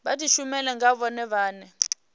vha dishumele nga vhone vhane